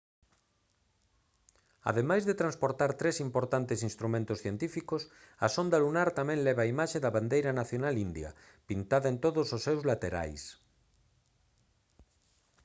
ademais de transportar tres importantes instrumentos científicos a sonda lunar tamén leva a imaxe da bandeira nacional india pintada en todos os seus laterais